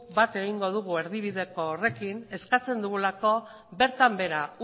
bat egingo dugu erdibide horrekin eskatzen dugulako bertan behera